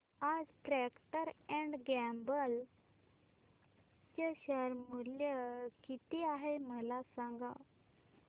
आज Procter and Gamble चे share मूल्य किती आहे मला सांगा